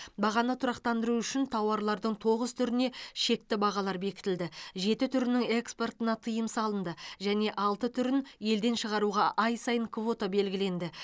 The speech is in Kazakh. бағаны тұрақтандыру үшін тауарлардың тоғыз түріне шекті бағалар бекітілді жеті түрінің экспортына тыйым салынды және алты түрін елден шығаруға ай сайын квота белгіленді